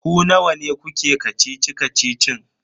Ku nawa ne kuke kacici-kacicin?